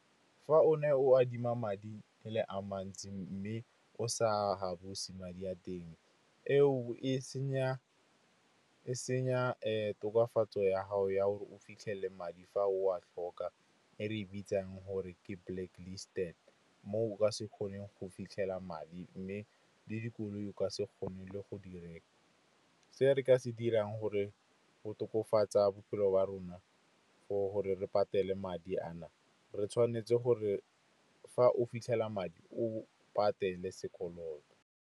Fa o ne o adima madi e le a mantsi mme o sa a buse, madi a teng e o e senya tokafatso ya gago ya gore fitlhele madi fa o a tlhoka, e re e bitsang gore ke blacklisted. Mo o ka se kgoneng go fitlhela madi, mme le dikoloi ka se kgone le go di reka. Se dirang gore tokafatsa bophelo ba rona, gore re patale madi a na, re tshwanetse gore fa o fitlhela madi o patele sekoloto.